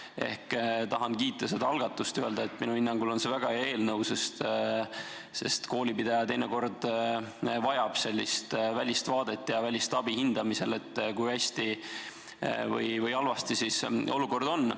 Ehk tahan kiita seda algatust ja öelda, et minu hinnangul on see väga hea eelnõu, sest koolipidaja vajab teinekord välist vaadet ja välist abi hindamisel, et kui hea või halb olukord on.